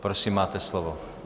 Prosím, máte slovo.